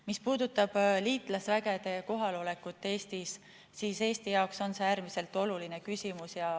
Mis puudutab liitlasvägede kohalolekut Eestis, siis see on Eesti jaoks äärmiselt oluline küsimus.